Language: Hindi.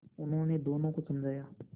उन्होंने दोनों को समझाया